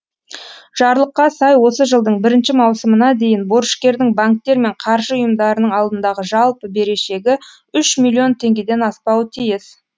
жарлыққа сай осы жылдың бір мауысымына дейін борышкердің банктер мен қаржы ұйымдарының алдындағы жалпы берешегі үш миллион теңгеден аспауы тиіс